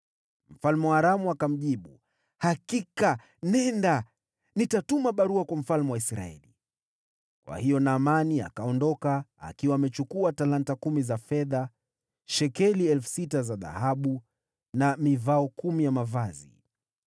Mfalme wa Aramu akamjibu, “Hakika, nenda. Nitatuma barua kwa mfalme wa Israeli.” Kwa hiyo Naamani akaondoka, akiwa amechukua talanta kumi za fedha, shekeli 6,000 za dhahabu, na mivao kumi ya mavazi.